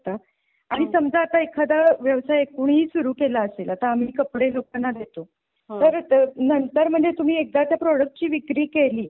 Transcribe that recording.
आणि समजा आता एखादा व्यवसाय कुणी ही सुरु केला असेल आता आम्ही कपडे लोकांना देतो परत नंतर म्हणजे तुम्ही एकदा त्या प्रोडक्ट्सची विक्री केली.